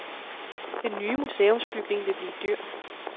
Den nye museumsbygning vil blive dyr.